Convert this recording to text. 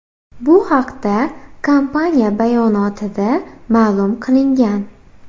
Bu haqda kompaniya bayonotida ma’lum qilingan .